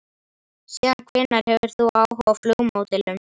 Síðan hvenær hefur þú áhuga á flugmódelum?